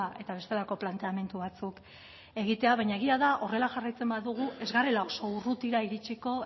eta bestelako planteamendu batzuk egitea baina egia da horrela jarraitzen badugu ez garela oso urrutira iritziko